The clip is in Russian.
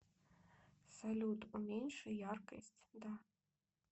салют уменьши яркость да